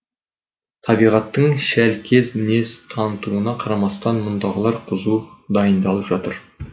табиғаттың шәлкез мінез танытуына қарамастан мұндағылар қызу дайындалып жатыр